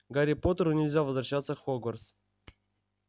гарри поттеру нельзя возвращаться в хогвартс